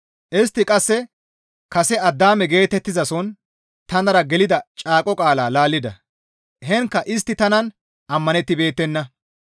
Istti qasse kase Addaame geetettizason tanara gelida caaqo qaala laallida; heenkka istti tanan ammanettibeettenna.